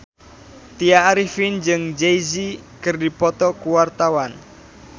Tya Arifin jeung Jay Z keur dipoto ku wartawan